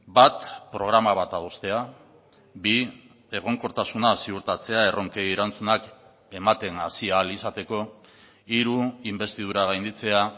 bat programa bat adostea bi egonkortasuna ziurtatzea erronkei erantzunak ematen hasi ahal izateko hiru inbestidura gainditzea